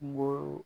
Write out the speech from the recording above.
Kungolo